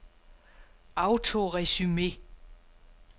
autoresume